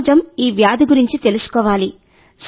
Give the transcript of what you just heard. సమాజం ఈ వ్యాధి గురించి తెలుసుకోవాలి